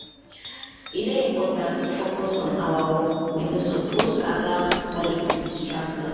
e dey important to focus on our work we no suppose allow politics distract us.